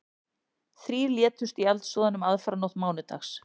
Þrír létust í eldsvoðanum aðfararnótt mánudags